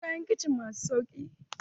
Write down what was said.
Akwai kayan kicin masu sauƙi.